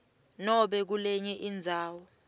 nobe kulenye indzawo